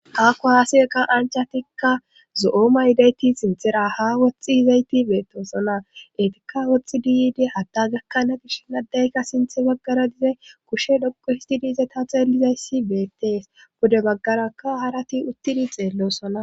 Ha kuwaase kanchatikka zo7ooma yidayti sinthera ha woxxi hizayti beetosona etika woxtxi diyid hadda gakkana gish n addayka sinthe baggara dize kushe dhoqu histi diize ta xeelizayssi beettees bode baggarakka harati uttidi xeellosona